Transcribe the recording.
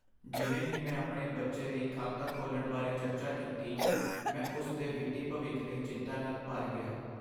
ਜਿਵੇਂ ਹੀ ਮੈਂ ਆਪਣੇ ਬੱਚੇ ਲਈ ਖਾਤਾ ਖੋਲ੍ਹਣ ਬਾਰੇ ਚਰਚਾ ਕੀਤੀ, ਮੈਂ ਉਸ ਦੇ ਵਿੱਤੀ ਭਵਿੱਖ ਲਈ ਚਿੰਤਾ ਨਾਲ ਭਰ ਗਿਆ।